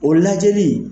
O lajɛli